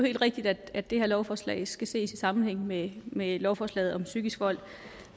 helt rigtigt at det her lovforslag skal ses i sammenhæng med med lovforslaget om psykisk vold